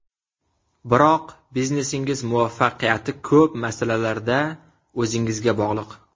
Biroq biznesingiz muvaffaqiyati ko‘p masalalarda o‘zingizga bog‘liq.